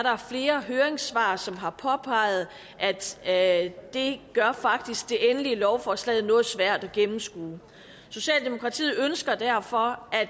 flere høringssvar som har påpeget at det faktisk gør det endelige lovforslag noget svært at gennemskue socialdemokratiet ønsker derfor at